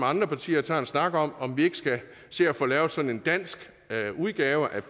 andre partier tager en snak om om vi ikke skal se at få lavet sådan en dansk udgave af